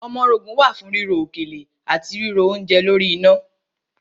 Ọmọrogùn wà fún ríro òkèlè àti ríro oúnje lórí iná.